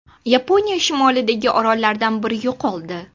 Yaponiya shimolidagi orollardan biri yo‘qoldi.